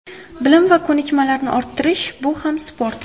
Bilim va ko‘nikmalarni orttirish – bu ham sport.